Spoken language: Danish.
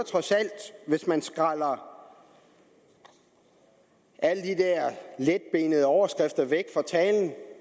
hvis man skræller alle de der letbenede overskrifter af talen